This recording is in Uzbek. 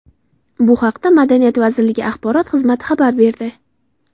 Bu haqda Madaniyat vazirligi axborot xizmati xabar berdi.